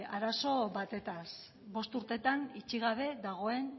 arazo batez bost urteetan itxi gabe dagoen